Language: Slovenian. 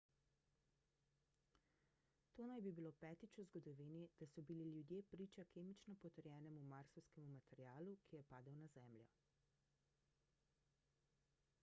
to naj bi bilo petič v zgodovini da so bili ljudje priča kemično potrjenemu marsovskemu materialu ki je padel na zemljo